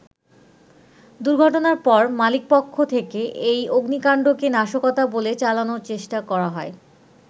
দুর্ঘটনার পর মালিকপক্ষ থেকে এই অগ্নিকান্ডকে নাশকতা বলে চালানোর চেষ্টা করা হয়।